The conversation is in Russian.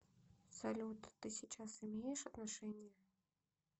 салют ты сейчас имеешь отношения